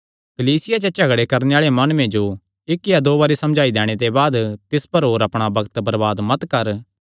कलीसिया च झगड़े करणे आल़े माणुये जो इक्क या दो बरी समझाई दैणे ते बाद तिस पर होर अपणा बग्त बरबाद मत कर